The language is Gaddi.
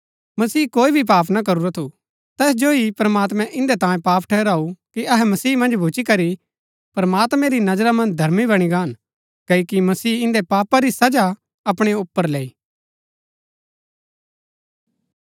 मसीह कोई भी पाप ना करूरा थु तैस जो ही प्रमात्मैं इन्दै तांयें पाप ठहराऊ कि अहै मसीह मन्ज भूच्ची करी प्रमात्मैं री नजरा मन्ज धर्मी बणी गान क्ओकि मसीह इन्दै पाप री सजा अपणै ऊपर लैई